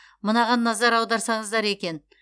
мынаған назар аударсаңыздар екен